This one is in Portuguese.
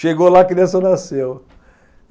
Chegou lá, a criança nasceu.